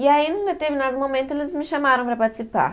E aí, num determinado momento, eles me chamaram para participar.